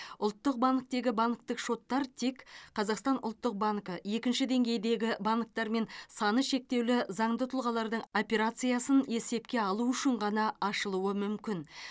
ұлттық банктегі банктік шоттар тек қазақстан ұлттық банкі екінші деңгейдегі банктер мен саны шектеулі заңды тұлғалардың операциясын есепке алу үшін ғана ашылуы мүмкін